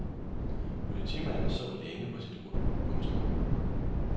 Politimanden så længe på sit ur. punktum